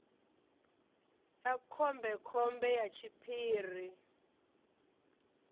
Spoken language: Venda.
ya khombe khombe ya tshiphiri